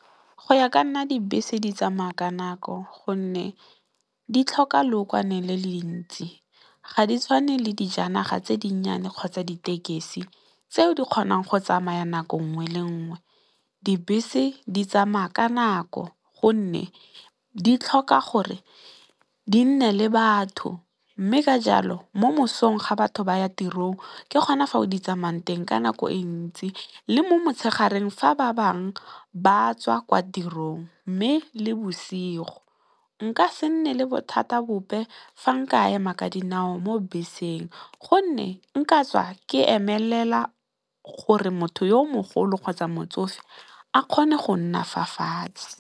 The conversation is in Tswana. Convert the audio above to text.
Go ya ka nna dibese di tsamaya ka nako gonne di tlhoka lookwane le le ntsi ga di tshwane le dijanaga tse dinyenyane, kgotsa ditekesi tseo di kgonang go tsamaya nako nngwe le nngwe. Dibese di tsamaya ka nako gonne, di tlhoka gore di nne le batho mme, ka jalo mo mosong ga batho ba ya tirong ke gona fa di tsamayang teng ka nako e ntsi, le mo motshegareng fa ba bangwe ba tswa kwa tirong mme, le bosigo. Nka se nne le bothata bope fa nka ema ka dinao mo beseng gonne nka tswa ke emelela gore motho yo o mogolo kgotsa motsofe a kgone go nna fa fatshe.